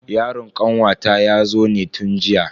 Yaron kanwata yazo ne tun jiya.